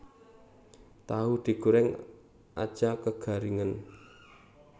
Tahu digoreng aja kegaringen